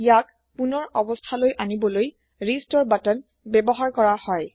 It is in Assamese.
ইয়াক পোনৰ অবস্তা লৈ অনিবলৈ ৰিস্টোৰ বাটন ব্যৱহাৰ কৰা হয়